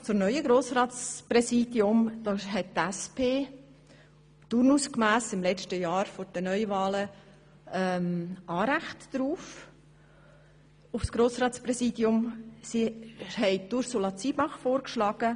Turnusgemäss hat die SP Anrecht auf das Amt des Grossratspräsidiums und schlägt dafür Ursula Zybach vor.